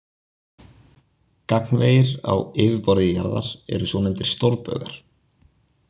Gagnvegir á yfirborði jarðar eru svonefndir stórbaugar.